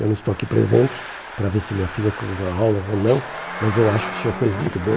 Eu não estou aqui presente para ver se minha filha com enrola ou não, mas eu acho que o senhor fez muito bem.